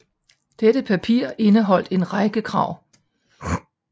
Dette papir indeholdt en række krav